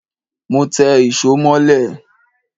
Mọ té ìsó molẹ́